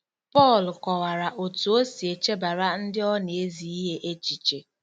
Pọl kọwara otú o si echebara ndị ọ na-ezi ihe echiche.